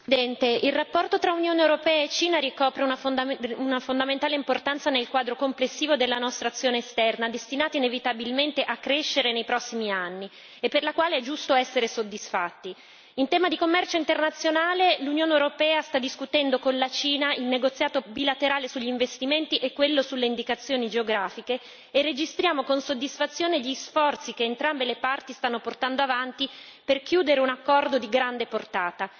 Signor Presidente, onorevoli colleghi, il rapporto tra Unione europea e Cina ricopre una fondamentale importanza nel quadro complessivo della nostra azione esterna, destinata inevitabilmente a crescere nei prossimi anni e per la quale è giusto essere soddisfatti. In tema di commercio internazionale, l'Unione europea sta discutendo con la Cina il negoziato bilaterale sugli investimenti e quello sulle indicazioni geografiche e registriamo con soddisfazione gli sforzi che entrambe le parti stanno portando avanti per chiudere un accordo di grande portata.